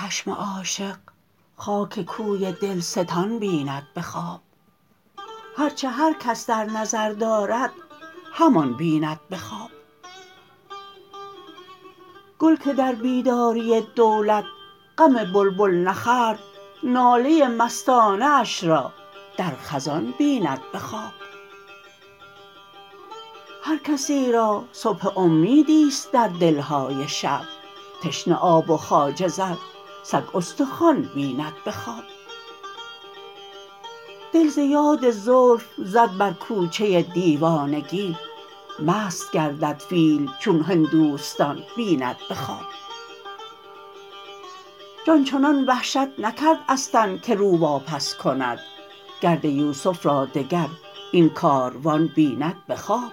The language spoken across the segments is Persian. چشم عاشق خاک کوی دلستان بیند به خواب هر چه هر کس در نظر دارد همان بیند به خواب گل که در بیداری دولت غم بلبل نخورد ناله مستانه اش را در خزان بیند به خواب هر کسی را صبح امیدی است در دلهای شب تشنه آب و خواجه زر سگ استخوان بیند به خواب دل ز یاد زلف زد بر کوچه دیوانگی مست گردد فیل چون هندوستان بیند به خواب جان چنان وحشت نکرد از تن که رو واپس کند گرد یوسف را دگر این کاروان بیند به خواب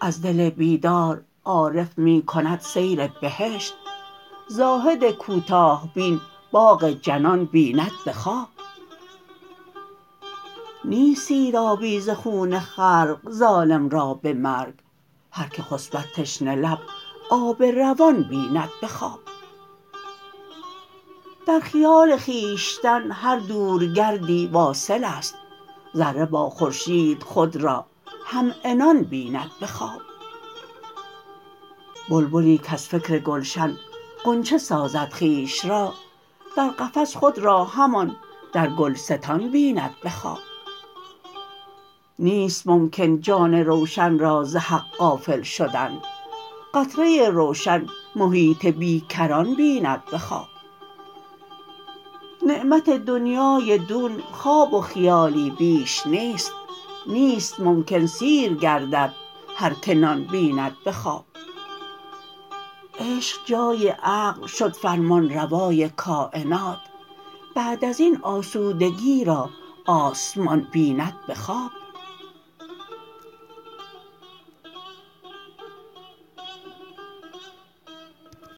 از دل بیدار عارف می کند سیر بهشت زاهد کوتاه بین باغ جنان بیند به خواب نیست سیرابی ز خون خلق ظالم را به مرگ هر که خسبد تشنه لب آب روان بیند به خواب در خیال خویشتن هر دور گردی واصل است ذره با خورشید خود را همعنان بیند به خواب بلبلی کز فکر گلشن غنچه سازد خویش را در قفس خود را همان در گلستان بیند به خواب نیست ممکن جان روشن را ز حق غافل شدن قطره روشن محیط بیکران بیند به خواب نعمت دنیای دون خواب و خیالی بیش نیست نیست ممکن سیر گردد هر که نان بیند به خواب عشق جای عقل شد فرمانروای کاینات بعد ازین آسودگی را آسمان بیند به خواب